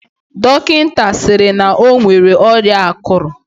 Dọkịnta sịrị na o nwere ọrịa akụrụ.